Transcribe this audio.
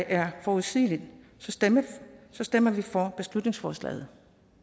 er forudsigeligt stemmer vi for beslutningsforslaget